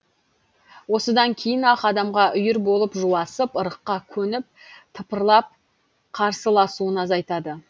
осыдан кейін ақ адамға үйір болып жуасып ырыққа көніп тыпырлап қарсыласуын азайтады